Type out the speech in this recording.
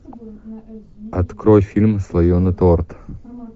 открой фильм слоеный торт